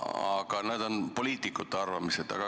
Aga need on poliitikute arvamused.